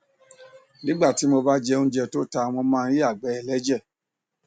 nígbà tí mo bá jẹ óúnjẹ tó ta mo máa ń yàgbẹ ẹlẹjẹ